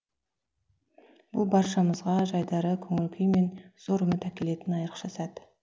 бұл баршамызға жайдары көңіл күй мен зор үміт әкелетін айрықша сәт